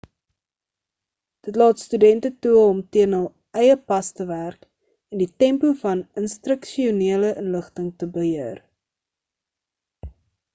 dit laat studente toe om teen hul eie pas te werk en die tempo van instruksionele inligting te beheer